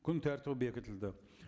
күн тәртібі бекітілді